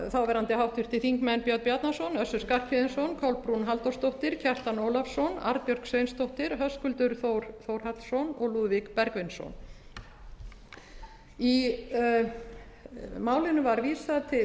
háttvirtur háttvirtir þingmenn björn bjarnason össur skarphéðinsson kolbrún halldórsdóttir kjartan ólafsson arnbjörg sveinsdóttir höskuldur þór þórhallsson og lúðvík bergvinsson málinu var vísað til